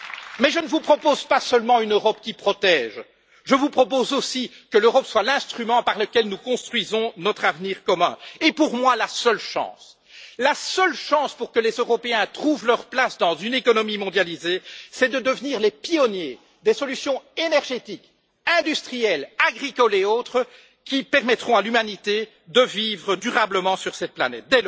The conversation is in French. Mais je ne vous propose pas seulement une Europe qui protège, je vous propose aussi que l'Europe soit l'instrument par lequel nous construisons notre avenir commun et, pour moi, la seule chance pour que les Européens trouvent leur place dans une économie mondialisée, c'est de devenir les pionniers des solutions énergétiques, industrielles, agricoles et autres qui permettront à l'humanité de vivre durablement sur cette planète.